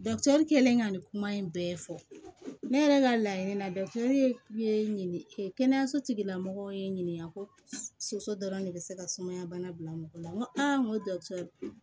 kɛlen ka nin kuma in bɛɛ fɔ ne yɛrɛ ka laɲini na kɛnɛyaso tigila mɔgɔ ye n ɲininka ko soso dɔrɔn de bɛ se ka sumaya bana bila mɔgɔ la n ko n ko